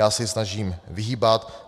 Já se jí snažím vyhýbat.